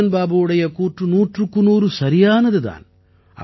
ரஞ்ஜன் பாபுவுடைய கூற்று நூற்றுக்கு நூறு சரியானது தான்